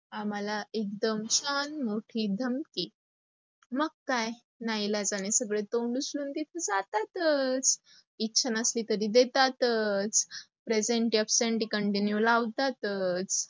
आम्हाला एकदम छान मोठी धमकी. मग काय ना इलाजाने सगळे तोंड उचलून देऊन तिथे जातातच. इच्छा नसली तरी देतातच, presenty, apsenty, continue लावतातच.